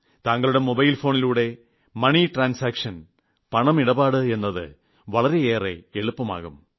താങ്കളുടെ മൊബൈൽ ഫോണിലൂടെ money transaction പണമിടപാട് എത് വളരെയേറെ എളുപ്പമാകും